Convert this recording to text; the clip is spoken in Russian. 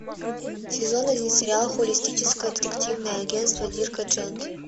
сезон один сериала холистическое детективное агентство дирка джентли